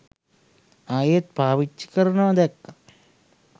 ආයෙත් පාවිච්චි කරනවා දැක්කා.